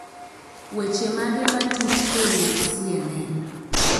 Weche mage matuch kowuok C.N.N